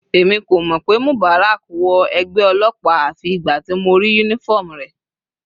Èmi kò mọ̀ pé Mubarak wọ ẹgbẹ́ ọlọ́pàá àfi ìgbà tí mo rí uniform rẹ̀.